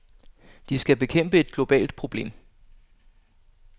De skal bekæmpe et globalt problem.